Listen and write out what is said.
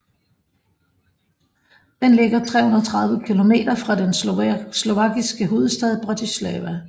Den ligger 330 kilometer fra den slovakiske hovedstad Bratislava